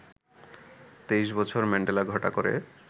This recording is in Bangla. ২৩ বছর ম্যান্ডেলা ঘটা করে